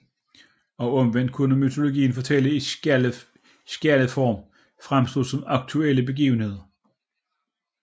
Og omvendt kunne mytologiske fortællinger i skjaldeform fremstå som aktuelle begivenheder